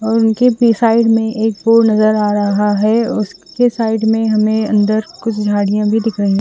और उनके पि साइड में एक पूल नजर आ रहा है उसके साइड में हमे अंदर कुछ झाडिया भी दिखाई --